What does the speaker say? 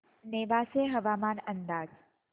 नेवासे हवामान अंदाज